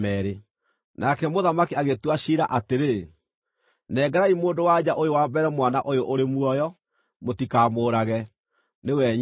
Nake mũthamaki agĩtua ciira atĩrĩ, “Nengerai mũndũ-wa-nja ũyũ wa mbere mwana ũyũ ũrĩ muoyo. Mũtikamũũrage; nĩwe nyina.”